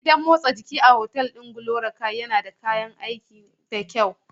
Gidan motsa jiki a otal ɗin GloryKay yana da kayan aiki da kyau.